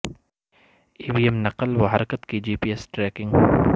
ای V M نقل و حرکت کی جی پی ایس ٹریکنگ